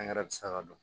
Angɛrɛ bɛ se ka don